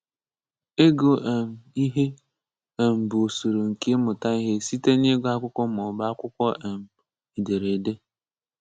Ịgụ um ihe um ḅụ usoro nke ịmụta ihe site n’ịgụ akwụkwọ maọbụ akwụkwọ um edereede.